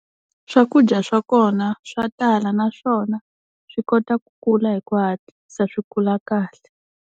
Swakudya swa kona swa tala naswona swi kota ku kula hi ku hatlisa swi kula kahle.